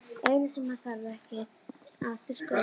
Eina sem hann þarf ekki að þurrka út.